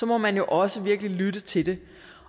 må man jo også virkelig lytte til det